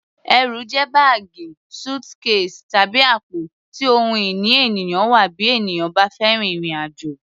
Ẹrù jẹ́ báàgì, suitcase, tàbí àpò tí ohun ìní ènìyàn wà bí ènìyàn bá fẹ́ rin ìrìn-àjò.